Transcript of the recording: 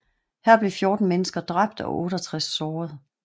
Her blev 14 mennesker dræbt og 68 såret